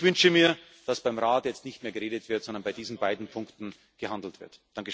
Ich wünsche mir, dass beim Rat jetzt nicht mehr geredet wird, sondern bei diesen beiden Punkten gehandelt wird!